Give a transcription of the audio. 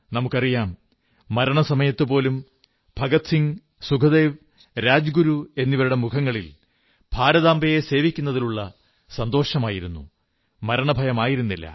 നമുക്കറിയാം മരണസമയത്ത് പോലും ഭഗത് സിംഗ് സുഖ്ദേവ് രാജ്ഗുരു എന്നിവരുടെ മുഖങ്ങളിൽ ഭാരതാംബയെ സേവിക്കുന്നതിലുള്ള സന്തോഷമായിരുന്നു മരണഭയമായിരുന്നില്ല